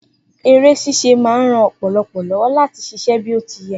eré ṣíṣe ma ń ran ọpọlọ lówó láti ṣiṣẹ́ bí o ti yẹ